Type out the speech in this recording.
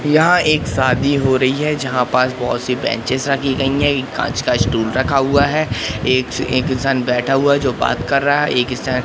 यहां एक सादी हो रही है जहां पास बहोत से बैंचेस रखी गई है एक कांच का स्टूल का रखा हुआ है एक इ एक इंसान बैठा हुआ जो बात कर रहा है एक इंसान--